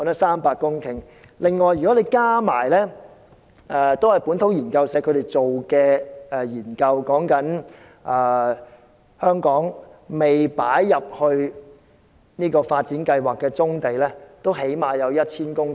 此外，根據另一項同為本土研究社進行的研究顯示，香港尚未納入發展計劃的棕地最少也有 1,000 公頃。